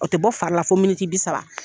O tɛ bɔ fari la fo miniti bi saba.